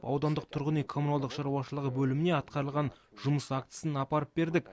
аудандық тұрғын үй коммуналдық шаруашылығы бөліміне атқарылған жұмыс актісін апарып бердік